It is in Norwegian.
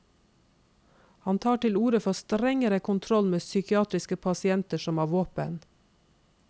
Han tar til orde for strengere kontroll med psykiatriske pasienter som har våpen.